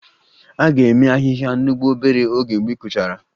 A ga-eme ahịhịa n'ugbo obere oge mgbe ị kụchara